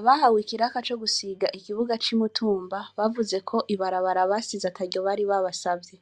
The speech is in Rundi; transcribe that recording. Abahawe ikiraka co gusiga ikibuga ci Mutumba bavuzeko ibarabara basize ataryo bari babasavye ,